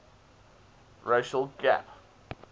racial gap